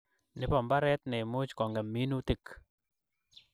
Nebo mbaret ne imuch kongem minutik